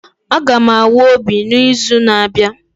Aga m awa obi n'izu na-abịa